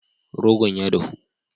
Rogon ya dahu.